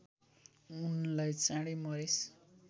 उनलाई चाँडै मरेस्